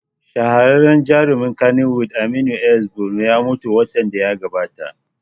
Shahararren jarumin kannywood Aminu S Bono ya mutu watan da ya gabata